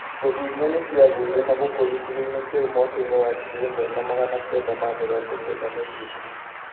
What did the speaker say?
Njogu inya nĩcĩagũire na gũkua gĩcigoinĩ kĩu mwakainĩ wa ngiri ĩmwe na magana kenda ma mĩrongo kenda na igĩrĩ.